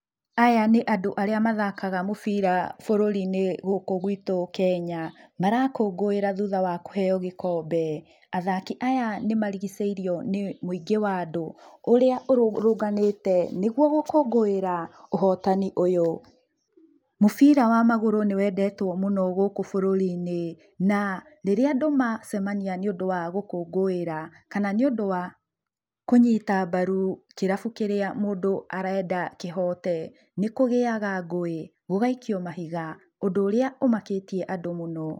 Aya nĩ andũ arĩa mathakaga mũbira bũrũri-inĩ gũkũ gwitũ Kenya marakũngũĩra thutha wa kũhenyo gĩkombe. Athaki aya nĩ marigicĩirio nĩ mũingĩ wa andũ ũrĩa ũrũrũnganĩte nĩguo gũkũngũĩra ũhotani ũyũ. Mũbira wa magũrũ nĩ wendetwo mũno gũkũ bũrũri-inĩ na rĩrĩa andũ macemania nĩũndũ wa gũkũngũĩra kana nĩũndũ wa kũnyita mbaru kĩrabu kĩrĩa mũndũ arenda kĩhote nĩ kũgĩyaga ngũĩ gũgaikio mahiga ũndũ ũrĩa ũmakĩtie andũ mũno.